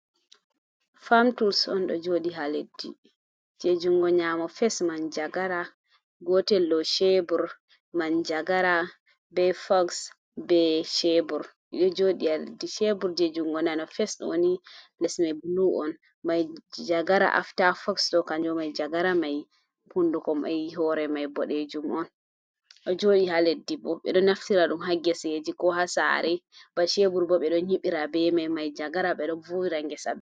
fam tuls on, ɗon jooɗi haa leddi, junngo nyaamo, fes man- jagara, gootel bo ceebur, man-jagara be foks, be ceebur ɗo jooɗi haa leddi, ceebur jey junngo nano fes ni les man bulu on, man-jagara afta foks ɗo kannjum man-jagara may hunnduko may hoore may boɗeejum on, ɗo jooɗi haa leddi. Bo ɓe ɗo naftira ɗum haa geseeji, ko haa saare, ba ceebur bo ɓe ɗon nyiɓira be may, man-jagara ɓe ɗon vuuwa ngesa.